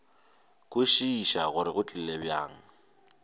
kwešiša gore go tlile bjang